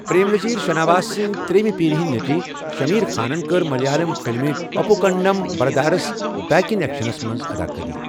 پرٛیم نٔذیٖر شناواس سٕنٛزِ ترٛیٚیمہِ پیرِ ہِنٛدِ نیٚچِوۍ شٔمیٖر خانن، کٔر ملیالَم فِلمہِ، اُپوٗکنٛڈَم برٛدٲرس بیک اِن ایٚکشَنس منٛز اَداکٲری۔